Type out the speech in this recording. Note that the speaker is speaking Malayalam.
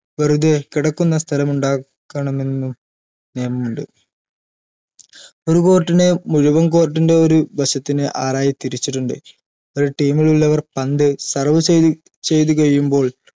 വെറുതെ കിടക്കുന്ന സ്ഥലമുണ്ടാക്കണമെന്ന് നിയമമുണ്ട് ഒരു court നെ മുഴുവൻ court ൻറെ ഒരു വശത്തിന് ആറായി തിരിച്ചിട്ടുണ്ട് ഒരു team ലുള്ളവർ പന്ത് serve ചെയ്ത് ചെയ്ത് കഴിയുമ്പോൾ